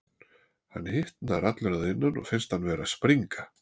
Hann hitnar allur að innan og finnst hann vera að springa.